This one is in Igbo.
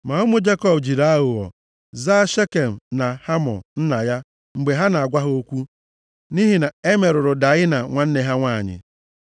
Ma ụmụ Jekọb jiri aghụghọ zaa Shekem na Hamọ nna ya mgbe ha na-agwa ha okwu, nʼihi na e merụrụ Daịna nwanne ha nwanyị.